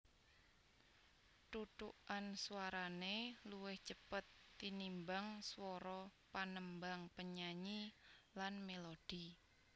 Thuthukan swarané luwih cepet tinimbang swara panembang penyanyi lan mélodi